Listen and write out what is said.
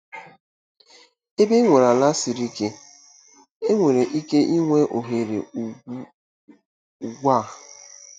Ebe enwere ala siri ike, enwere ike inwe oghere ugbu a.